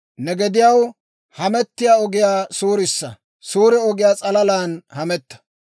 Ne gediyaw hamettiyaa ogiyaa suurissa; suure ogiyaa s'alalan hametta.